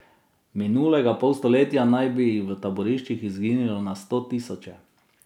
V minulega pol stoletja naj bi jih v taboriščih izginilo na sto tisoče.